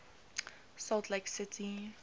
salt lake city